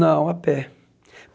Não, a pé.